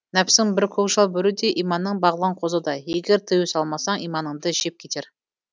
нәпсің бір көкжал бөрідей иманың бағлан қозыдай егер тыю салмасаң иманыңды жеп кетер